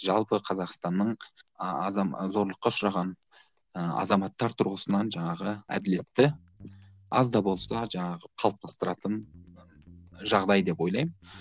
жалпы қазақстанның а зорлыққа ұшыраған ыыы азаматтар тұрғысынан жаңағы әділетті аз да болса жаңағы қалыптастыратын жағдай деп ойлаймын